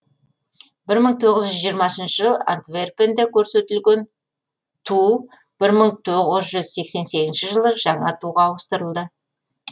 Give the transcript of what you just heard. жылы антверпенде көрсетілген туу жылы жаңа туға ауыстырылды